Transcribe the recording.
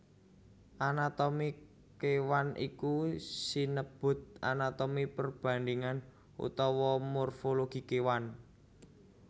Anatomi kéwan iku sinebut anatomi perbandhingan utawa morfologi kéwan